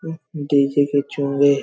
उँह DJ के चोंगे--